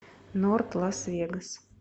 норт лас вегас